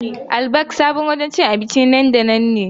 Al-Baik sabon wurin cin abinci na nan da nan ne.